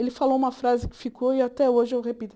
Ele falou uma frase que ficou e até hoje eu repito.